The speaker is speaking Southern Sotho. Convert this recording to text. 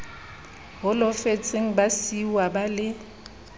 holofetseng ba siuwa ba le